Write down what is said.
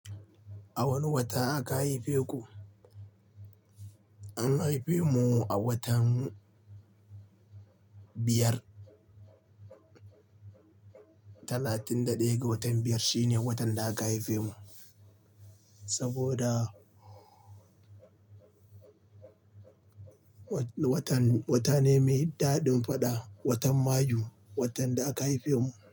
A wane wata aka haife ku? An haife mu a watan biyar, talatin da ɗaya ga watan biyar shine watan da aka haife mu. Saboda watan, wata ne mai daɗin faɗa, watan Mayu watan da aka haife mu.